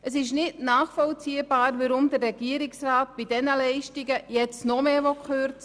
Es ist nicht nachvollziehbar, weshalb der Regierungsrat bei diesen Leistungen jetzt noch mehr kürzen will.